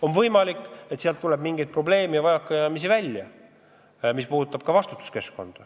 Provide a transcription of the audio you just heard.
On võimalik, et sealt tuleb välja mingeid probleeme ja vajakajäämisi, mis puudutavad ka vastutust.